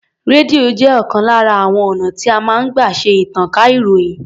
Rédíò jẹ́ ọ̀kan lára àwon ọ̀nà tí a máa ń gbà ṣe ìtànká ìròyìn.